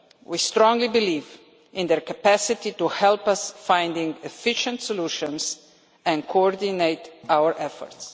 We strongly believe in their capacity to help us find efficient solutions and coordinate our efforts.